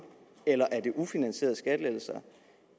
eller er det ufinansierede skattelettelser